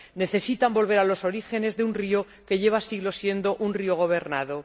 Necesitan volver a los orígenes de un río que lleva siglos siendo un río gobernado.